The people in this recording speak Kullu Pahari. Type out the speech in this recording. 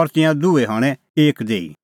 और तिंयां दूई हणैं एक देही